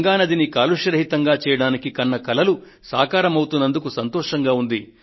గంగానదిని కాలుష్య రహితంగా చేయడానికి కన్న కలలు సాకారమవుతున్నందుకు సంతోషంగా ఉంది